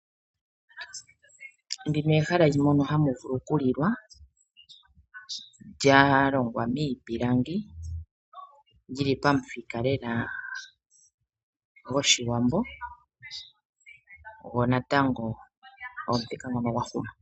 Ndino ehala mono hamu vulu okulilwa, lya longwa miipilangi, lyi li pamuthika lela gOshiwambo, go natango omuthika ngono gwa huma.